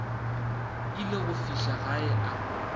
ile go fihla gae a